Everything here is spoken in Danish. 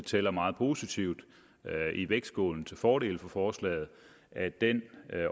tæller meget positivt i vægtskålen til fordel for forslaget at den